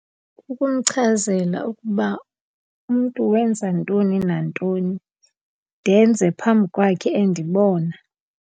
Kukumchazela ukuba umntu wenza ntoni nantoni, ndenze phambi kwakhe endibona.